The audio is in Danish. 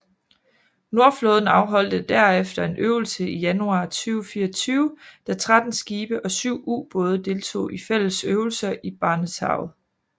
Nordflåden afholdte derefter en øvelse i januar 2004 da 13 skibe og syv ubåde deltog i fælles øvelser i Barentshavet